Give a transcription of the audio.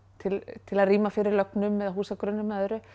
til til að rýma fyrir lögnum eða húsgrunnum eða öðru